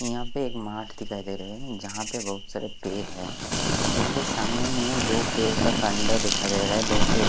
यहां पे एक मार्ट दिखाई दे रहे है जहां पे बहुत सारे पेड़ है यहां पे सामने में दो पेड़ का कांडा दिखाय दे रहा है दो पेड़ --